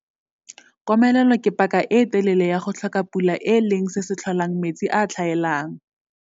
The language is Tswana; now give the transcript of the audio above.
Komelelo ke paka e e telele ya go tlhoka pula e leng se se tlholang metsi a a tlhaelang.